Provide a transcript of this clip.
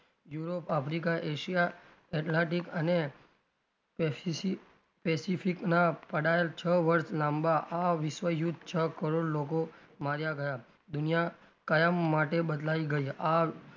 Europe, Africa, Asia, Atlantic અને specspecific ના પડાયેલ છ વર્ષ લાંબા આ વિશ્વયુદ્ધ છ કરોડ લોકો માર્યા ગયાં દુનિયા કાયમ માટે બદલાઈ ગઈ આ,